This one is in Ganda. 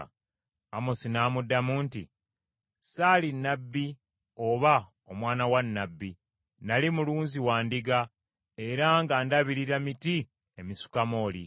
Amosi n’amuddamu nti, “Saali nnabbi oba omwana wa nnabbi nnali mulunzi wa ndiga era nga ndabirira miti emisukamooli.